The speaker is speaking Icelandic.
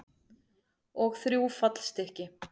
Og þrjú fallstykki.